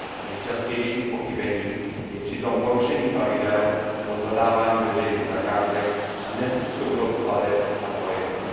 Nejčastějším pochybením je přitom porušení pravidel pro zadávání veřejných zakázek a nezpůsobilost plateb na projekty.